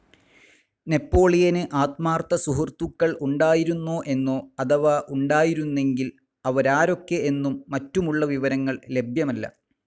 നെപ്പോളിയന് ആത്മാർത്ഥ സുഹൃത്തുക്കൾ ഉണ്ടായിരുന്നോ എന്നോ അഥവാ ഉണ്ടായിരുന്നെങ്കിൽ അവരാരൊക്കെ എന്നും മറ്റുമുള്ള വിവരങ്ങൾ ലഭ്യമല്ല.